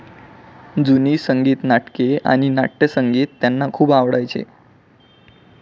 जुनी संगीत नाटके आणि नाटयसंगीत त्यांना खूप आवडायचे.